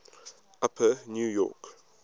upper new york